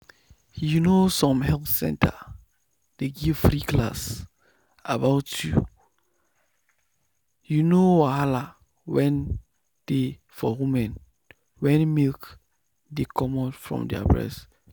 you know some health center dey give free class about you know wahala wen dey for women wen milk dey comot from their breast.